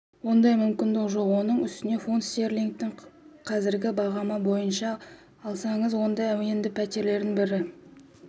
ондай мүмкіндік жоқ оның үстіне фунт стерлингтің қазіргі бағамы бойынша алсаңыз онда енді пәтердің бір